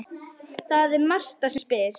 Það er Marta sem spyr.